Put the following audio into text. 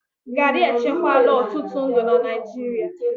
garri echekwala ọtụtụ ndụ na Naịjirịa